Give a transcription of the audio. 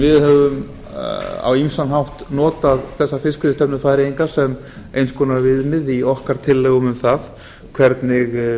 við höfum notað fiskveiðistefnu færeyinga sem eins konar viðmið í tillögum okkar um það hvernig